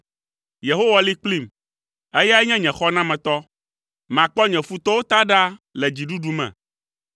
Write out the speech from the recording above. Yehowa li kplim, eyae nye nye xɔnametɔ. Makpɔ nye futɔwo ta ɖa le dziɖuɖu me.